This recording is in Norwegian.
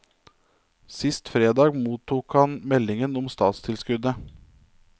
Sist fredag mottok han meldingen om statstilskuddet.